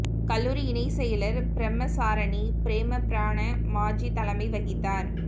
கல்லூரி இணைச் செயலா் பிரமச்சாரணி ப்ரேமபிரணா மாஜி தலைமை வகித்தாா்